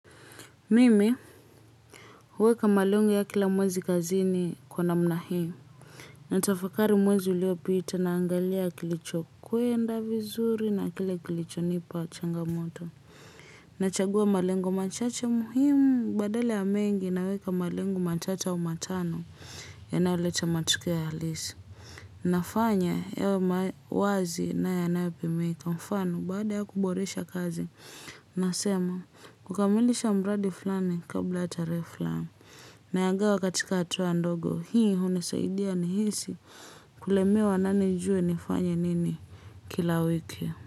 Mimi, huweka malengo ya kila mwezi kazini kwa namna hii. Natafakari mwezi uliopita naangalia kilicho kwenda vizuri na kile kilicho nipa changamoto. Nachagua malengo machache muhimu badala ya mengi naweka malengo machache au matano yanayoleta matokeo ya halisi. Na fanya yawe wazi na yanayopimika kwa mfano baada ya kuboresha kazi. Nasema kukamilisha mradi fulani kabla ya tarehe fulani. Nayagawa katika hatua ndogo hii hunisaidia nihisi kulemewa nami nijuwe nifanye nini kila wiki.